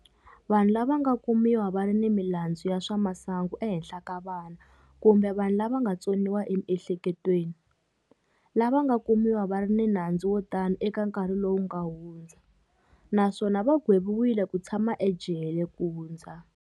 Vanhu lava nga kumiwa va ri ni milandzu ya swa masangu ehenhla ka vana kumbe vanhu lava nga tsoniwa emiehleketweni, lava nga kumiwa va ri ni nandzu wo tano eka nkarhi lowu nga hundza, naswona va gweviwile ku tshama ejele ku hundza.